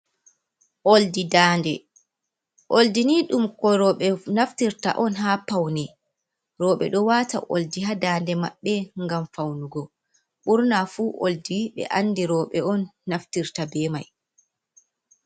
Oldi daande, oldi ni ɗum ko roɓe naftirta on ha paune, roɓe ɗo waata oldi ha daande maɓɓe ngam faunugo, ɓurna fu oldi ɓe andi rouɓe on naftirta be mai.